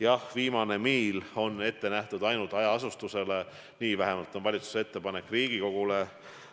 Jah, viimase miili raha on ette nähtud ainult hajaasustusele, selline vähemalt on valitsuse ettepanek Riigikogule.